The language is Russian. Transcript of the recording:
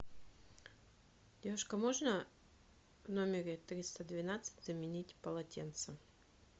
девушка можно в номере триста двенадцать заменить полотенца